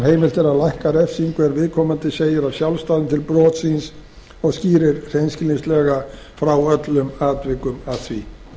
er að lækka refsingu ef viðkomandi segir af sjálfsdáðum til brots síns og skýrir hreinskilnislega frá öllum atvikum að því